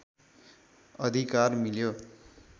अधिकार मिल्यो